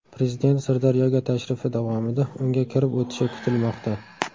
Prezident Sirdaryoga tashrifi davomida unga kirib o‘tishi kutilmoqda.